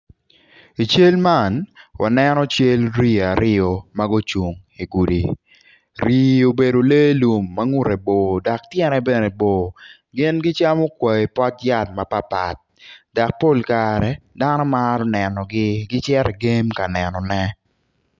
I cal man waneno cal rii aryo magucung i gudi rii obedo lee lum ma ngute bor dok tyene bene bor, yen gicam kwai pot yat mapat pat dok pol kare dano maro nenogi gicito i game kanenogi.